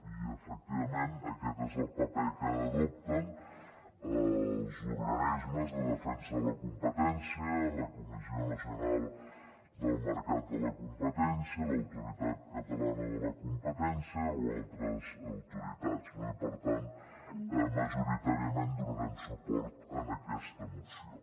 i efectivament aquest és el paper que adopten els organismes de defensa de la competència la comissió nacional del mercat de la competència l’autoritat catalana de la competència o altres autoritats no i per tant majoritàriament donarem suport a aquesta moció